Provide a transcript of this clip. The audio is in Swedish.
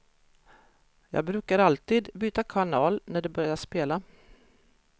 Jag brukar alltid byta kanal när de börjar spela.